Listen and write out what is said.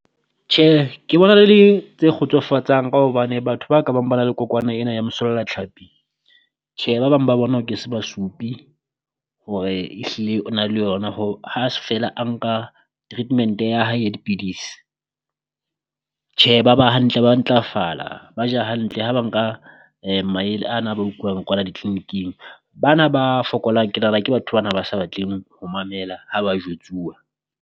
Tjhe ke bona le di tse kgotsofatsang ka hobane batho ba ka bang ba na le kokwana ena ya mosollatlhapi, tjhe ba bang ba bona o ke se ba supi hore ehlile o na le yona. Ho ha se feela a nka treatment-e ya hae ya dipidisi, tjhe ba ba hantle ba ntlafala ba ja hantle ha ba nka maele a na a ba utluwang kwala di clinic-ing. Bana ba fokolang ke nahana ke batho bana ba sa batleng ho mamela ha ba jwetsuwa.